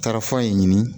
Tarafan in ɲini